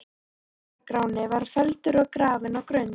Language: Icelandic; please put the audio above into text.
Ara-Gráni var felldur og grafinn á Grund.